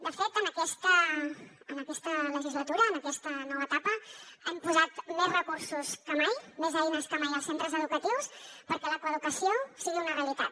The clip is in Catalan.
de fet en aquesta legislatura en aquesta nova etapa hem posat més recursos que mai més eines que mai als centres educatius perquè la coeducació sigui una realitat